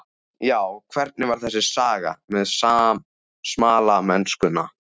Já, hvernig var þessi saga með smalamennskuna?